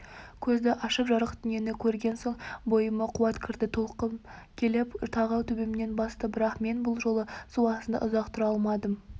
көзді ашып жарық дүниені көрген соң бойыма қуат кірді толқын келіп тағы төбемнен басты бірақ мен бұл жолы су астында ұзақ тұра алмадым